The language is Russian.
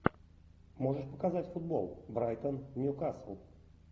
можешь показать футбол брайтон ньюкасл